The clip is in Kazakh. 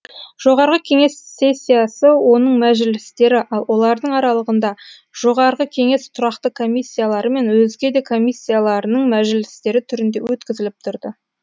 жоғарғы кеңес сессиясы оның мәжілістері ал олардың аралығында жоғарғы кеңес тұрақты комиссиялары мен өзге де комиссияларының мәжілістері түрінде өткізіліп тұрды